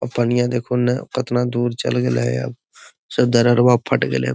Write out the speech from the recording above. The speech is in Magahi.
आ पनिया देखूं ने केतना दूर चल गेले ये फट गेले।